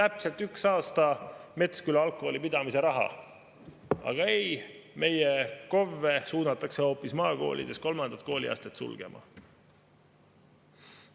täpselt üks aasta Metsküla algkooli pidamise raha, aga ei, meie KOV-e suunatakse hoopis maakoolides kolmandat kooliastet sulgema.